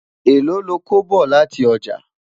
èlò lọkọ bọ láti ọjà?